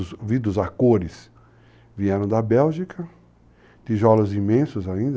vidros a cores vieram da Bélgica, tijolos imensos ainda.